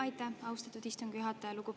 Aitäh, austatud istungi juhataja!